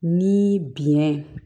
Ni biɲɛ